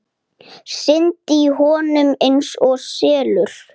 Syndi í honum einsog selur.